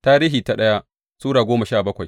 daya Tarihi Sura goma sha bakwai